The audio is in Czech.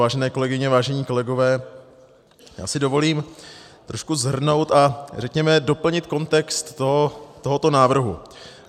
Vážené kolegyně, vážení kolegové, já si dovolím trošku shrnout a řekněme doplnit kontext tohoto návrhu.